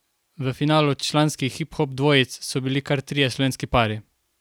V finalu članskih hiphop dvojic so bili kar trije slovenski pari.